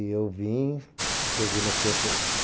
E eu vim, cheguei no centro, fiquei...